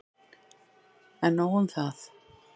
En nóg um það.